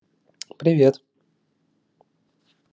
привет